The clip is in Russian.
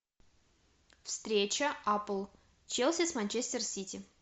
встреча апл челси с манчестер сити